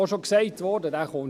Es wurde auch bereits gesagt;